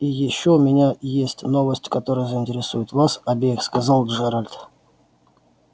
и ещё у меня есть новость которая заинтересует вас обеих сказал джералд